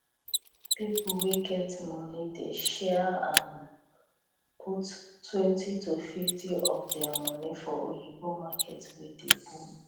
pipo wey get money dey share am puttwentyto 50 of dia moni for oyibo market wey dey boom